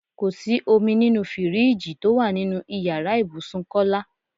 Kò sí omi nínú fíríìjiì tó wà nínú ìyára ibùsùn Kọ́lá.